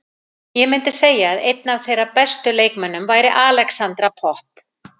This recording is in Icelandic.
Ég myndi segja að einn af þeirra bestu leikmönnum væri Alexandra Popp.